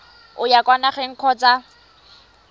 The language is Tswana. o ya kwa nageng kgotsa